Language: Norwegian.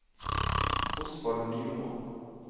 Osvald Nymoen